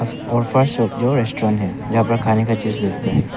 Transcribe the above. Food fast shop जोर restaurant है जहां पर खाने का चीज बेचते हैं।